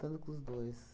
Tanto com os dois, sabe?